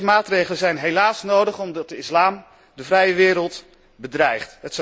Deze maatregelen zijn helaas nodig omdat de islam de vrije wereld bedreigt.